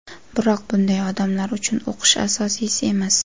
Biroq bunday odamlar uchun o‘qish asosiysi emas.